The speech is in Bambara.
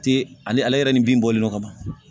Te ale ale yɛrɛ ni bin bɔlen no ka ban